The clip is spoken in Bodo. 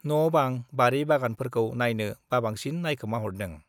न'-बां, बारि-बागानफोरखौ नाइनो बाबांसिन नाइखोमाहरदों।